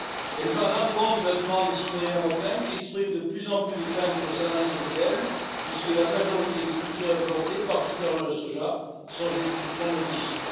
Elle va à l'encontre de la demande des citoyens européens, qui expriment de plus en plus de craintes concernant les OGM, puisque la majorité des cultures importées, particulièrement le soja, sont génétiquement modifiées.